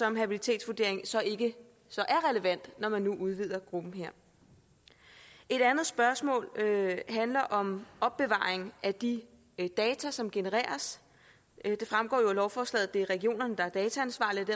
en habilitetsvurdering så ikke er relevant når man nu udvider gruppen et andet spørgsmål handler om opbevaring af de data som genereres det fremgår af lovforslaget at det er regionerne der er dataansvarlige